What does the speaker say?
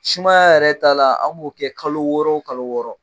Sumaya yɛrɛ ta la an b'o kɛ kalo wɔɔrɔ o kalo wɔɔrɔ